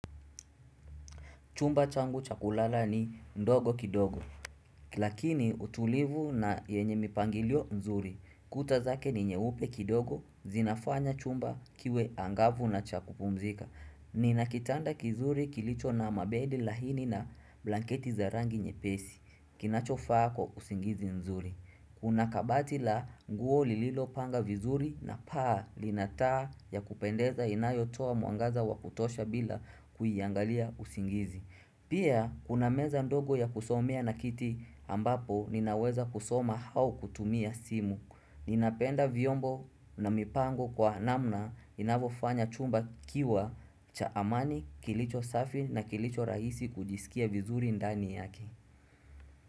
Chumba changu chakulala ni ndogo kidogo Lakini utulivu na yenye mipangilio nzuri Kuta zake ni nyeupe kidogo zinafanya chumba kiwe angavu na cha kupumzika Nina kitanda kizuri kilicho na mabedi laini na blanketi za rangi nyepesi kinachofaa kwa usingizi nzuri Kuna kabati la nguo lililopanga vizuri na paa lina taa ya kupendeza inayotoa mwangaza wakutosha bila kuiangalia usingizi Pia, kuna meza ndogo ya kusomea na kiti ambapo ninaweza kusoma au kutumia simu. Ninapenda vyombo na mipango kwa namna inavyofanya chumba kikiwa cha amani, kilicho safi na kilicho rahisi kujisikia vizuri ndani yake.